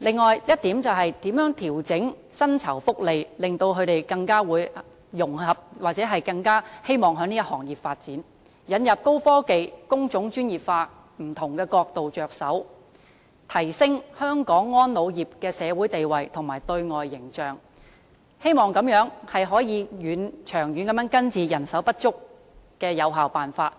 並調整薪酬福利，令他們更能融合或更希望在這個行業發展；此外，從引入高科技和工種專業化等不同角度着手，提升香港安老業的社會地位和對外形象，希望這樣能夠長遠地有效根治人手不足的問題。